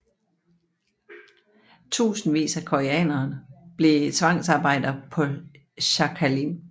Tusindvis af koreanere blev tvangsarbejdere på Sakhalin